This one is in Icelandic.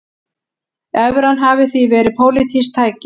Evran hafi því verið pólitískt tæki